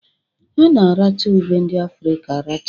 A na-aracha ube ndị Afrịka aracha